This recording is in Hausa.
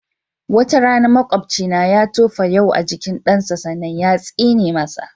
Wata rana maƙobcina ya tofa yau a jikin ɗansa sannan yatsine masa.